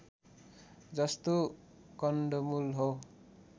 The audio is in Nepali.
जस्तो कन्दमूल हो